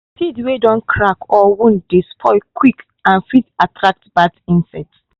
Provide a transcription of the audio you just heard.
seed wey don crack or wound dey spoil quick and fit attract bad insect.